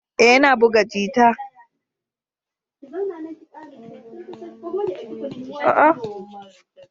Ee, yana buga jita.